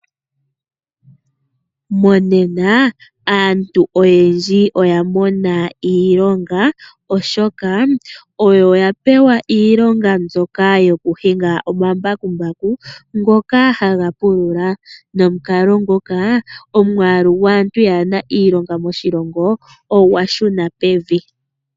Monena aantu oyendji oya mona iilonga, oshoka oyo ya pewa iilonga mbyoka yoku hinga omambakumbaku ngoka ha ga pulula, nomukalo ngoka omwaalu gwaantu yaana iilonga moshilongo ogwa shuna pevi.